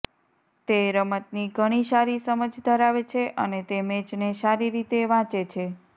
તે રમતની ઘણી સારી સમજ ધરાવે છે અને તે મેચને સારી રીતે વાંચે છે